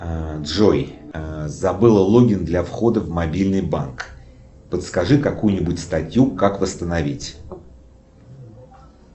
джой забыла логин для входа в мобильный банк подскажи какую нибудь статью как восстановить